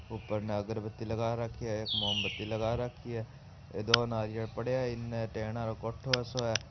ऊपर न अगरबती लगा रखी है एक मोमबत्ती लगा रखी है दो नारियल पड़या है इन्न टेन आ रो कोठों सो है।